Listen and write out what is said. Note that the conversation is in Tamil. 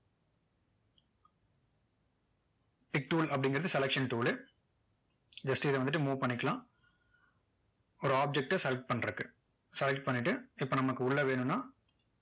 pic tool அப்படிங்கிறது selection tool லு just இதை வந்துட்டு move பன்ணிக்கலாம் ஒரு object ட select பண்றதுக்கு select பண்ணிட்டு இப்போ நமக்கு உள்ள வேணும்னா